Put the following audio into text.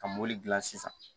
Ka mɔbili dilan sisan